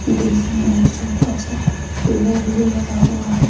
बीच में एक छोटा सा पेड़ भी लगा हुआ है।